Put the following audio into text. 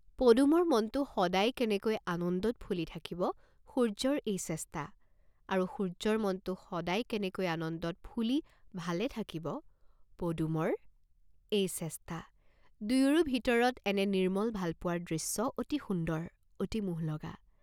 পদুমৰ মনটো সদায় কেনেকৈ আনন্দত ফুলি থাকিব সূৰ্য্যৰ এই চেষ্টা, আৰু সূৰ্য্যৰ মনটো সদায় কেনেকৈ আনন্দত ফুলি ভালে থকিব পদুমৰ এই চেষ্টা দুইৰো ভিতৰত এনে নিৰ্ম্মল ভালপোৱাৰ দৃশ্য অতি সুন্দৰ, অতি মোহলগা।